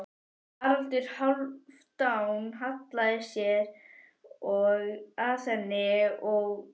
Haraldur Hálfdán hallaði sér að henni og kynnti sig.